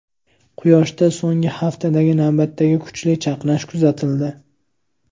Quyoshda so‘nggi haftadagi navbatdagi kuchli chaqnash kuzatildi.